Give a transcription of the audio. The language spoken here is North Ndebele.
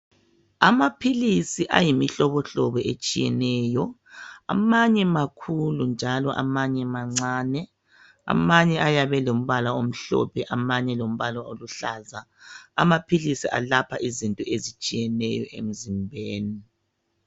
Amaphilisi ayimihlobohlobo etshiyeneyo. Amanye makhulu njalo amanye mancane. Amanye ayabe elombala omhlophe amanye aluhlaza. Amaphilisi elapha izifo ezitshiyeneyo emzimbeni.